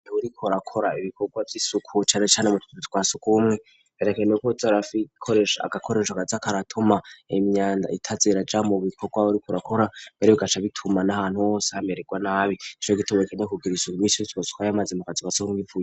Uriko urakora ibikorwa vy'isuku cane cane mu tuzu twa sugumwe, herekanyweko arako arakoresha agakoreshwa kaza kadatuma imyanda itaza irajamwo mu bikorwa uriko urakora, mbere bigaca bituma n'ahantu hose hameregwa nabi, nico gutuma woza urasaukayo amazi mu tuzu twa sugumwe.